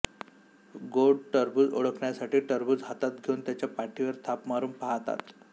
गोड टरबूज ओळखण्यासाठी टरबूज हातात घेऊन त्याच्या पाठीवर थाप मारून पाहतात